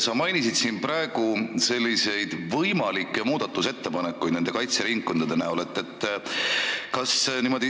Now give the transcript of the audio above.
Sa mainisid siin võimalikke muudatusettepanekuid kaitseringkondade kohta.